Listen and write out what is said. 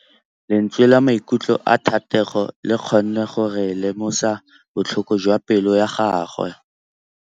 Lentswe la maikutlo a Thategô le kgonne gore re lemosa botlhoko jwa pelô ya gagwe.